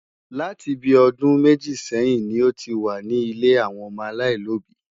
Láti bí ọdún méjì sẹ́yìn ni ó ti wà ní ilé àwọn ọmọ aláìlóbìí.